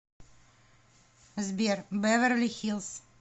сбер бэверли хиллз